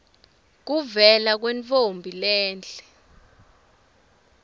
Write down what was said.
kuvela kwentfombi lenhle